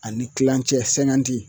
Ani kilancɛ sɛnkanti